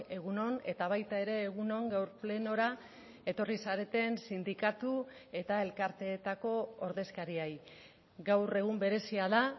egun on eta baita ere egun on gaur plenora etorri zareten sindikatu eta elkarteetako ordezkariei gaur egun berezia da